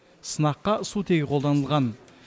сынаққа сутегі қолданылған